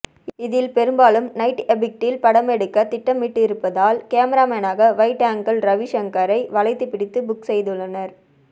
இதில் பெரும்பாலும் நைட் எபெக்டில் படமெடுக்க திட்டமிட்டிருப்பதால் கேமராமேனாக வைட் ஆங்கிள் ரவி ஷங்கரைத் வளைத்து பிடித்து புக் செய்துள்ளனர்